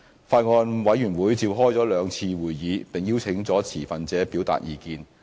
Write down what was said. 法案委員會召開了兩次會議，並邀請了持份者表達意見。